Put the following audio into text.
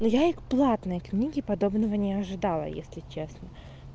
ну я и к платной книге подобного не ожидала если честно